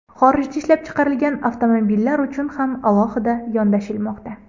Xorijda ishlab chiqarilgan avtomobillar uchun ham alohida yondashilmoqda.